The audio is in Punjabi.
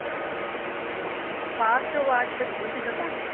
ਫਾਸਟ ਆਵਾਜ਼ ਭੱਜਦੀ ਪਈ ਪਤਾ